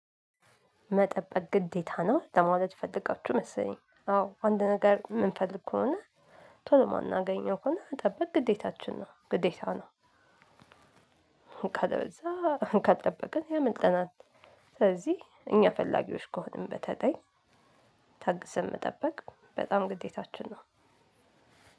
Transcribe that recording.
መጠበቅ ግዴታ ነው ለማለት ፈልጋችሁ መሰለኝ አዎ አንድ ነገር የምንፈልግ ከሆነ ቶሎ ማናገኘው ከሆነ መጠበቅ ግዴታችን ነው ግዴታ ነው። ካለበለዛ ካልጠበቅን ያመልጠናል። ስለዚህ እኛ ፈላጊዎች ከሆንን በተለይ ታግሰን መጠበቅ በጣም ግዴታችን ነው።